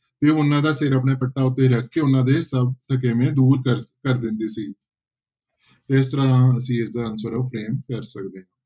ਤੇ ਉਹਨਾਂ ਦਾ ਸਿਰ ਆਪਣੇ ਪੱਟਾਂ ਉੱਤੇ ਰੱਖਕੇ ਉਹਨਾਂ ਦੇ ਸਭ ਥਕੇਵੇਂ ਦੂਰ ਕਰ ਕਰ ਦਿੰਦੇ ਸੀ ਤੇ ਇਸ ਤਰ੍ਹਾਂ ਅਸੀਂ ਇਸਦਾ answer ਆ ਉਹ ਕਰ ਸਕਦੇ ਹਾਂ।